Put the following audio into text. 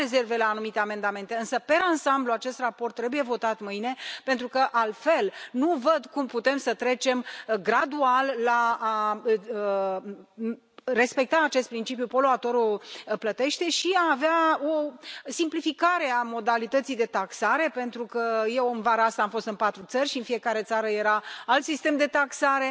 Am rezerve la anumite amendamente însă, per ansamblu, acest raport trebuie votat mâine, pentru că altfel nu văd cum putem să trecem gradual la a respecta acest principiu poluatorul plătește și a avea o simplificare a modalității de taxare, pentru că eu în vara asta am fost în patru țări și în fiecare țară era alt sistem de taxare.